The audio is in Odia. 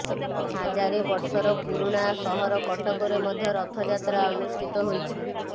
ହାଜାରେ ବର୍ଷର ପୁରୁଣା ସହର କଟକରେ ମଧ୍ୟ ରଥଯାତ୍ରା ଅନୁଷ୍ଠିତ ହୋଇଛି